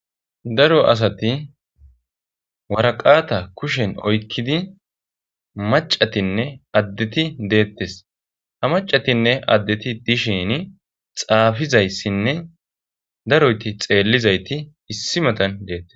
Daro asati waraqata kushen oykkidi macatinne addeti deettes ha macatinne addeti dishin xaafizayssinne daroyti xeellizayti issi matan deettes.